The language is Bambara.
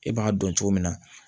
E b'a dɔn cogo min na